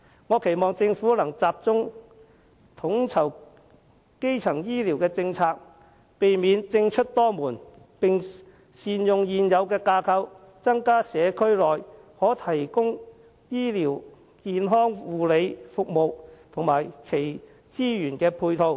我期望政府能集中統籌基層醫療政策，避免政出多門，並善用現有架構，增加社區內可用的醫療健康護理服務及其資源配套。